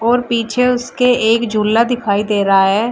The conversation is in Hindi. और पीछे उसके एक झूला दिखाई दे रहा है।